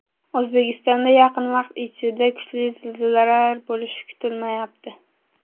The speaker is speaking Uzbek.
O‘zbekistonda yaqin vaqt ichida kuchli zilzilalar bo‘lishi kutilmayapti.